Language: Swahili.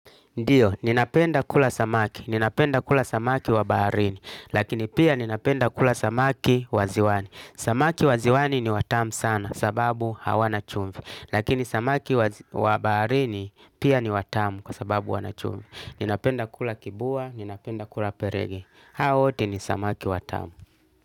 Ndiyo, ninapenda kula samaki, ninapenda kula samaki wa baharini, lakini pia ninapenda kula samaki waziwani. Samaki waziwani ni watamu sana sababu hawana chumvi, lakini samaki wa baharini pia ni watamu kwa sababu wanachumvi. Ninapenda kula kibua, ninapenda kula perege. Hao wote ni samaki watamu.